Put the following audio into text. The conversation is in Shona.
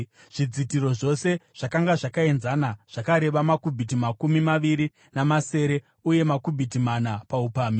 Zvidzitiro zvose zvakanga zvakaenzana, zvakareba makubhiti makumi maviri namasere uye makubhiti mana paupamhi.